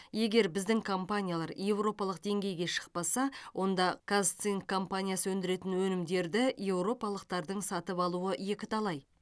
егер біздің компаниялар еуропалық деңгейге шықпаса онда казцинк компаниясы өндіретін өнімдерді еуропалықтардың сатып алуы екіталай